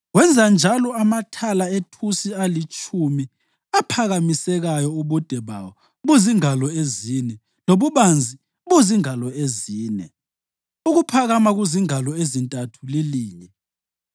Wenza njalo amathala ethusi alitshumi aphakamisekayo ubude bawo buzingalo ezine, lobubanzi buzingalo ezine, ukuphakama kuzingalo ezintathu lilinye.